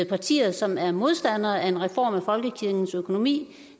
partier som er modstandere af en reform af folkekirkens økonomi